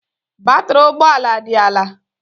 Batrị ụgbọ ala dị ala